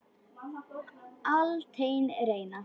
Altént reyna.